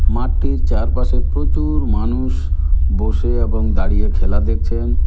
মাঠটির চারপাশে প্রচুর মানুষ বসে এবং দাঁড়িয়ে খেলা দেখছেন।